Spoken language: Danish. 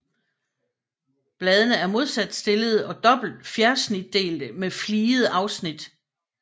Bladene er modsat stillede og dobbelt fjersnitdelte med fligede afsnit